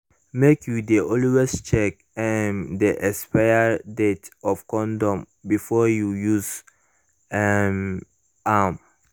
make you de always check um the expiry date of condom before you use um am